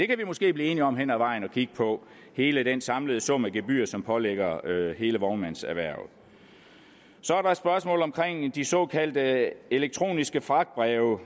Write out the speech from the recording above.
kan måske blive enige om hen ad vejen at kigge på hele den samlede sum af gebyrer som pålægges hele vognmandserhvervet så er der et spørgsmål omkring de såkaldte elektroniske fragtbreve